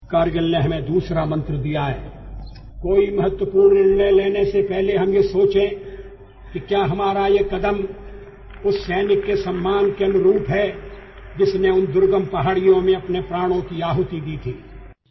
କାରଗିଲ ଆମକୁ ଆଉ ଗୋଟିଏ ମନ୍ତ୍ର ଦେଇଛି କୌଣସି ଗୁରୁତ୍ୱପୂର୍ଣ୍ଣ ନିଷ୍ପତ୍ତି ଗ୍ରହଣ କରିବା ପୂର୍ବରୁ ଆମେ ଏକଥା ଚିନ୍ତା କରିବା ଯେ ଆମର ସେହି ପଦକ୍ଷେପ ସେହି ସୈନିକର ସମ୍ମାନର ଅନୁରୂପ କି ନୁହେଁ ଯିଏ ସେହି ଦୁର୍ଗମ ପାହାଡ଼ିଆ ଅଂଚଳରେ ନିଜର ପ୍ରାଣବଳି ଦେଇଛି